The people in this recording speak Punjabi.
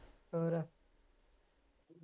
ਹੋਰ